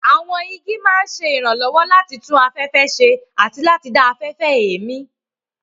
Àwọn igi máa ń ṣe ìrànlọ́wọ́ láti tún afẹ́fẹ́ ṣe àti láti dá afẹ́fẹ́ èémí.